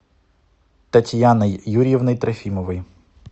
татьяной юрьевной трофимовой